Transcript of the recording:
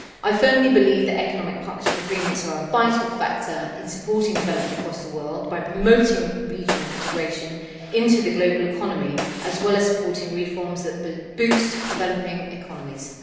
I firmly believe the economic partnership agreements are a vital factor in supporting development across the world by promoting regional integration into the global economy, as well as by supporting reforms that boost developing economies.